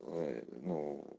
ой ну